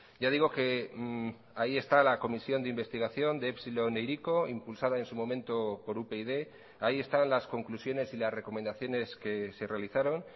ya digo que ahí está la comisión de investigación de epsilon e hiriko impulsada en su momento por upyd ahí están las conclusiones y las recomendaciones que se realizaron